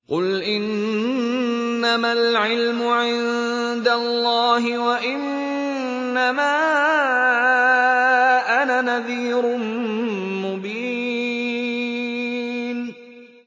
قُلْ إِنَّمَا الْعِلْمُ عِندَ اللَّهِ وَإِنَّمَا أَنَا نَذِيرٌ مُّبِينٌ